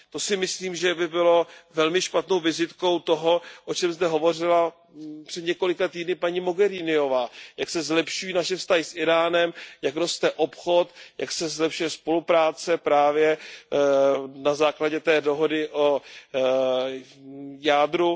To si myslím, že by bylo velmi špatnou vizitkou toho, o čem zde hovořila před několika týdny paní Mogheriniová, jak se zlepšují naše vztahy s Íránem, jak roste obchod, jak se zlepšuje spolupráce právě na základě té dohody o jádru.